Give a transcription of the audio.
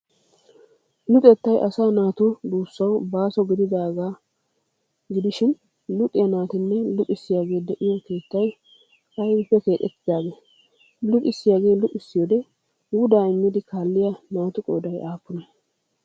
Luxettay asaa naatu duussawu baaso gididaaga luxiya naatinne luxissiyagee de'iyo keettay aybippe keexxettidee? Luxissiyagee luxissiyode wudaa immidi kaalliya naatu qooday aappunee?